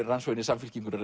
rann svo inn í Samfylkinguna